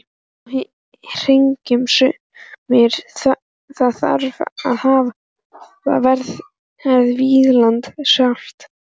Þó hyggja sumir að þar hafi verið Vínland sjálft.